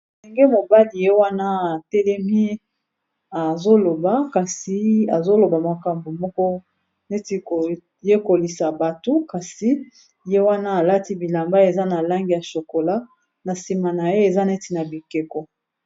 Elenge mobali ye wana atelemi azo loba kasi azo loba makambo moko neti koyekolisa bato kasi ye wana alati bilamba eza na langi ya shokola na nsima na ye eza neti na bikeko.